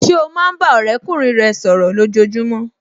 Ṣé o máa ń bá ọ̀rẹ́kùnrin rẹ sọ̀rọ̀ ní ojojúmọ́